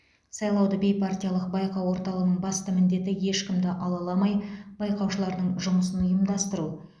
сайлауды бейпартиялық байқау орталығының басты міндеті ешкімді алаламай байқаушылардың жұмысын ұйымдастыру